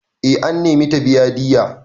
Eh an nemi ta biya diyya.